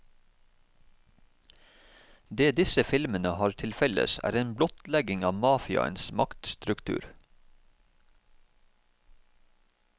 Det disse filmene har til felles er en blottlegging av mafiaens maktstruktur.